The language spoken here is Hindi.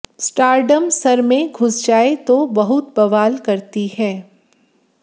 स्टारडम सर में घुस जाए तो बहुत बवाल करती है